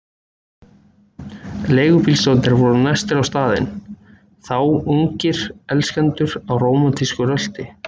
Leigubílstjórarnir voru næstir á staðinn, þá ungir elskendur á rómantísku rölti.